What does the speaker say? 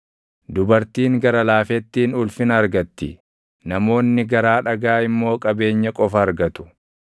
Dubartiin gara laafettiin ulfina argatti; namoonni garaa dhagaa immoo qabeenya qofa argatu.